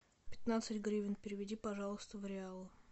пятнадцать гривен переведи пожалуйста в реалы